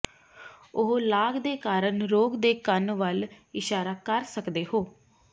ਉਹ ਲਾਗ ਦੇ ਕਾਰਨ ਰੋਗ ਦੇ ਕੰਨ ਵੱਲ ਇਸ਼ਾਰਾ ਕਰ ਸਕਦੇ ਹੋ